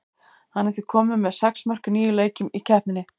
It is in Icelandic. Hann er því kominn með sex mörk í níu leikjum í keppninni.